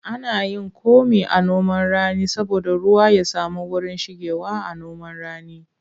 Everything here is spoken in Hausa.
Ana yin komi a noman rani saboda ruwa ya samu wurin shigewa.a noman rani